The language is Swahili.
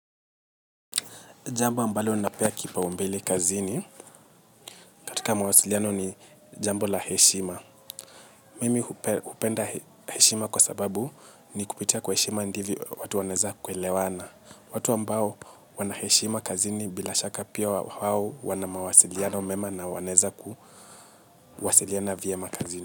Jambo ambalo napea kipaumbele kazini katika mawasiliano ni jambo la heshima. Mimi hupenda heshima kwa sababu ni kupitia kwa heshima ndivyo watu wanaweza kuelewana. Watu ambao wana heshima kazini bila shaka pia wao wana mawasiliano mema na wanaweza kuwasiliana vyema kazini.